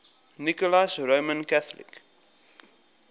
nicholas roman catholic